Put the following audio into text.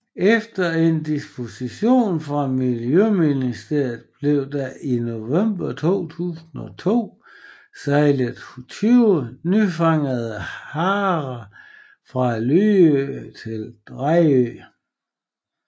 Efter en dispensation fra Miljøministeriet blev der i november 2002 sejlet 20 nyfangede harer fra Lyø til Dejrø